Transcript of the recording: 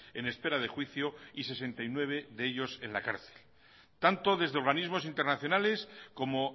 en espera de juicio y sesenta y nueve de ellos en la cárcel tanto desde organismos internacionales como